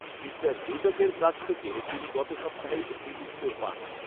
Mister রুডকের কাছ থেকে তিনি গত সপ্তাহে একটি উত্তর পান।